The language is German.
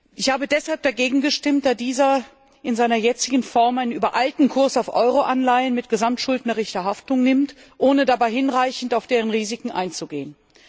Ich habe deshalb dagegen gestimmt, da dieser in seiner jetzigen Form einen übereilten Kurs auf Euroanleihen mit gesamtschuldnerischer Haftung nimmt, ohne dabei hinreichend auf deren Risiken einzugehen.